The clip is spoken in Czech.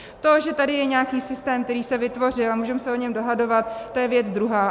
To, že je tady nějaký systém, který se vytvořil, a můžeme se o něm dohadovat, to je věc druhá.